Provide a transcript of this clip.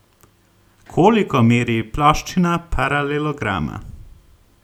Koliko meri ploščina paralelograma?